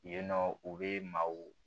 Yen nɔ u bɛ maaw